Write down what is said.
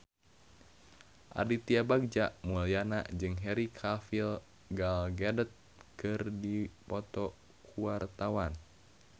Aditya Bagja Mulyana jeung Henry Cavill Gal Gadot keur dipoto ku wartawan